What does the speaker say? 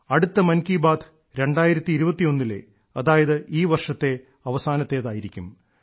അടുത്ത മൻ കീ ബാത്ത് 2021 ലെ അതായത് ഈ വർഷത്തെ അവസാനത്തേതായിരിക്കും